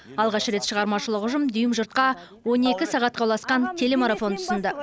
алғаш рет шығармашылық ұжым дүйім жұртқа он екі сағатқа ұласқан телемарафон ұсынды